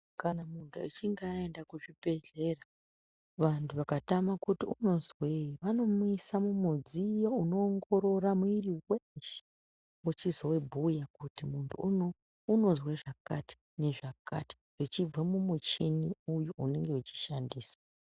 Kana muntu achinge aenda kuchibhedhlera vantu vakatama kuti Unozwei vanomuisa mumudziyo unoongorora mwiri weshe uchizobhuya kuti muntu anozwa zvakati nezvakati zvichibva mumuchini uyu unenge uchi shandiswa.